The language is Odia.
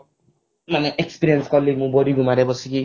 ମାନେ experience କଲି ମୁଁ ବାରିଗୁମାରେ ବସିକି